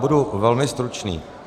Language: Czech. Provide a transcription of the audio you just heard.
Budu velmi stručný.